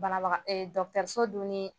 Banabaga e dɔgɔtɔrɔso dun ni